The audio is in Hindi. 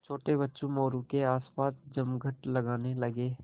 छोटे बच्चे मोरू के आसपास जमघट लगाने लगे